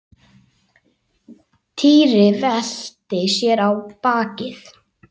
Týri velti sér á bakið.